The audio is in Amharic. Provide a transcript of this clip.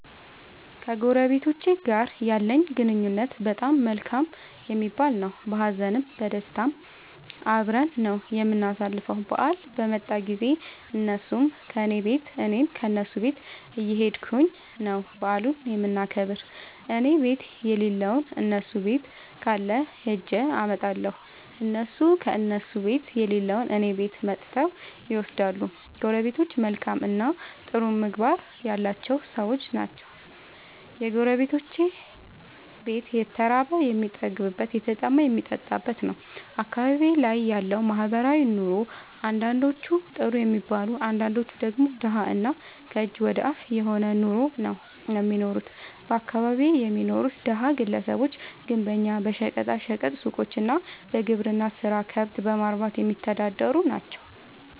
ከጎረቤቶቸ ጋር ያለኝ ግንኙነት በጣም መልካም የሚባል ነዉ። በሀዘንም በደስታም አብረን ነዉ የምናሣልፈዉ በአል በመጣ ጊዜም እነሡም ከኔ ቤት እኔም ከነሡ ቤት እየኸድኩ ነዉ በዓሉን የምናከብር እኔቤት የለለዉን እነሡ ቤት ካለ ኸጀ አመጣለሁ። እነሡም ከእነሡ ቤት የሌለዉን እኔ ቤት መጥተዉ ይወስዳሉ። ጎረቤቶቸ መልካምእና ጥሩ ምግባር ያላቸዉ ሠዎች ናቸዉ። የጎረቤቶቼ ቤት የተራበ የሚጠግብበት የተጠማ የሚጠጣበት ነዉ። አካባቢዬ ላይ ያለዉ ማህበራዊ ኑሮ አንዳንዶቹ ጥሩ የሚባል አንዳንዶቹ ደግሞ ደሀ እና ከእጅ ወደ አፍ የሆነ ኑሮ ነዉ እሚኖሩት በአካባቢየ የሚኖሩት ደሀ ግለሰቦች ግንበኛ በሸቀጣ ሸቀጥ ሡቆች እና በግብርና ስራ ከብት በማርባትየሚተዳደሩ ናቸዉ።